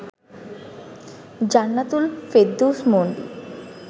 Jannatul Ferdous Mondi